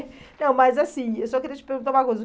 Não, mas assim, eu só queria te perguntar uma coisa.